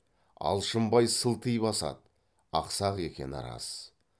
алшынбай сылти басады ақсақ екені рас